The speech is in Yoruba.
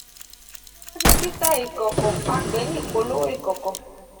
ti o ba jẹ tita ikọkọ a pe ni ipolowo ikọkọ.